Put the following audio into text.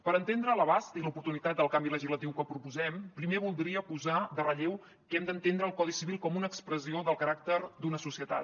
per entendre l’abast i l’oportunitat del canvi legislatiu que proposem primer voldria posar en relleu que hem d’entendre el codi civil com una expressió del caràcter d’una societat